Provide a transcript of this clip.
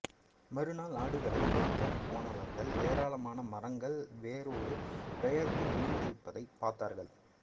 மறுநாள் ஆடுகளை மேய்க்க போனவர்கள் ஏராளமான மரங்கள் வேரோடு பெயர்ந்து விழுந்திருப்பதை பார்த்தார்கள்